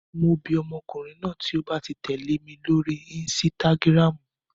Mo bi ọmọkùnrin náà tí ó ba ti tẹ̀lé mi lórí insitagiramu.